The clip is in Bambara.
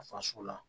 Faso la